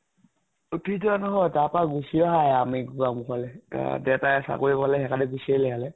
উঠি যোৱা নহয় । তাপা গুছি আহা হে আমি গোৱামুখলে । আ দেতায়ে চাকৰি লʼলে সেইকাৰণে গুছি আহিলে ইয়ালে ।